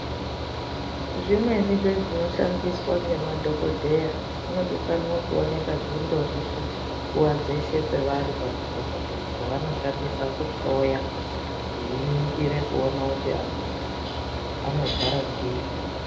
Zvimweni zvezvinoshandiswa ngemadhokodheya zvinodikana kuoneka nguwa dzeshe zvingori pevari pamadhokodheya zvevanoshandisa kuhloya veiningirwe kuti vantu vanorwara ngei.